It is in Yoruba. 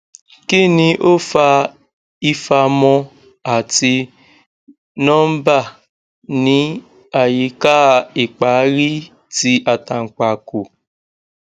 kini o fa ifamo ati nomba ni ayika ipaari ti atanpako